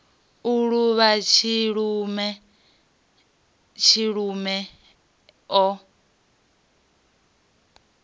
u luvha tshilume tshilume o